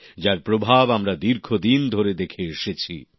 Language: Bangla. যার প্রভাব আমরা দীর্ঘদিন ধরে দেখে এসেছি